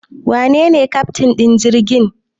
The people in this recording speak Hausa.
Wanene keftin din jirgin?